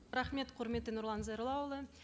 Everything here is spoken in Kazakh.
рахмет құрметті нұрлан зайроллаұлы